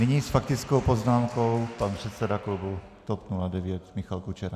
Nyní s faktickou poznámkou pan předseda klubu TOP 09 Michal Kučera.